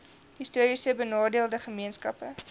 histories benadeelde gemeenskappe